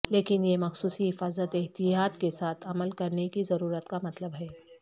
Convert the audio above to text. لیکن اس مخصوص حفاظت احتیاط کے ساتھ عمل کرنے کی ضرورت کا مطلب ہے